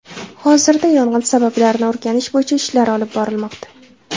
Hozirda yong‘in sabablarini o‘rganish bo‘yicha ishlar olib borilmoqda.